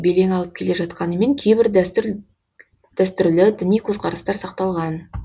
белең алып келе жатқанымен кейбір дәстүрлі діни көзқарастар сақталған